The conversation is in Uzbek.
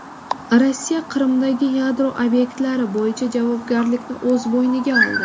Rossiya Qrimdagi yadro obyektlari bo‘yicha javobgarlikni o‘z bo‘yniga oldi.